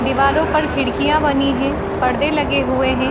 दीवारों पर खिड़कियाँ बनी हैं। पर्दे लगे हुए हैं।